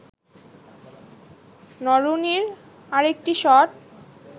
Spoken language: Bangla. নরুনির আরেকটি শট